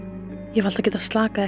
ég hef alltaf getað slakað